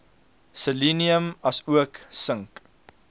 selenium asook sink